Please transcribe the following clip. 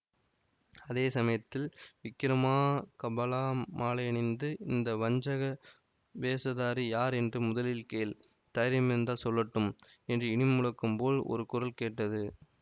அதே சமயத்தில் விக்கிரமா கபலா மாலையணிந்த இந்த வஞ்சக வேஷதாரி யார் என்று முதலில் கேள் தைரியமிருந்தால் சொல்லட்டும் என்று இடிமுழக்கம் போல் ஒரு குரல் கேட்டது